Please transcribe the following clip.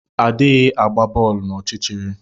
Adighị agba boolu n’ọchịchịrị